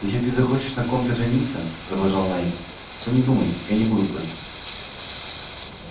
если ты захочешь на ком-то жениться продолжал найд то не думай я не буду против